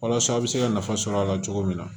Walasa a bɛ se ka nafa sɔrɔ a la cogo min na